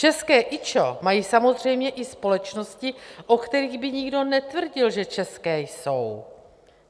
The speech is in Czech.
České IČO mají samozřejmě i společnosti, o kterých by nikdo netvrdil, že české jsou.